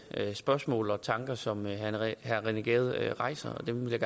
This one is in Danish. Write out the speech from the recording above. spørgsmål og tanker som herre rené gade rejser og dem vil